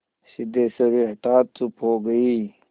सिद्धेश्वरी हठात चुप हो गई